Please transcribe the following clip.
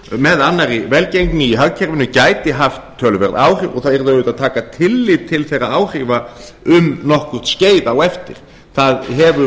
með annarri velgengni í hagkerfinu gæti haft töluverð áhrif og það yrði auðvitað að taka tillit til þeirra áhrifa um nokkurt skeið eftir það það hefur